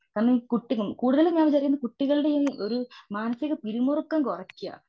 കാരണം ഈ കുട്ടി കുടുതലും ഞാൻ വിചാരിക്കുന്നത് കുട്ടികളുടെ മാനസീക പിരിമുറുക്കം കുറക്കുക.